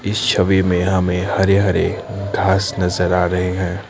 इस छवि में हमें हरे हरे घास नजर आ रहे हैं।